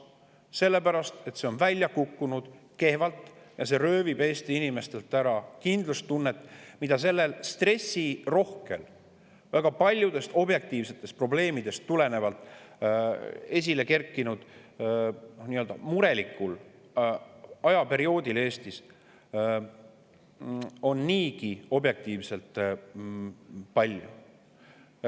See on välja kukkunud kehvalt ja see röövib Eesti inimestelt ära kindlustunde, mida sellel stressirohkel, väga paljudest objektiivsetest probleemidest tulenevalt esilekerkinud murelikul ajaperioodil on Eestis niigi objektiivselt.